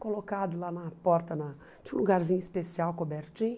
colocado lá na porta na tinha um lugarzinho especial, cobertinho.